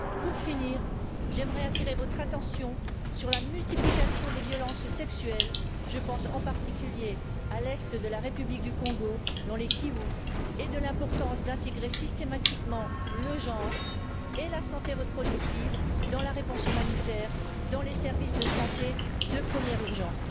Pour finir, j'aimerais attirer votre attention sur la multiplication des violences sexuelles Je pense en particulier à l'Est de la République du Congo dans le Kivu et sur l'importance d'intégrer systématiquement le genre et la santé reproductive dans la réponse humanitaire dans les services de santé de première urgence.